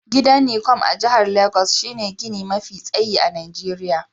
Gidan Necom a jihar Legas shine gini mafi tsayi a Najeriya.